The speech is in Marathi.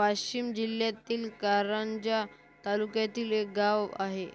वाशिम जिल्ह्यातील कारंजा तालुक्यातील एक गाव आहे